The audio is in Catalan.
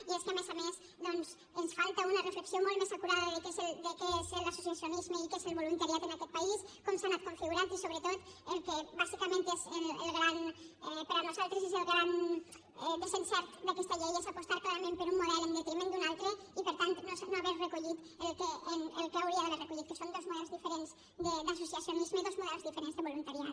i és que a més a més ens falta una reflexió molt més acurada de què és l’associacionisme i què és el voluntariat en aquest país com s’ha anat configurant i sobretot el que bàsicament és per nosaltres el gran desencert d’aquesta llei és apostar clarament per un model en detriment d’un altre i per tant no haver recollit el que hauria d’haver recollit que són dos models diferents d’associacionisme dos models diferents de voluntariat